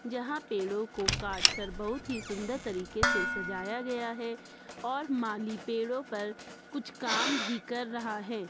जहां पेड़ों को काटकर बहुत ही सुंदर तरीके से सजाया गया है और माली पेड़ों पर कुछ काम भी कर रहा है।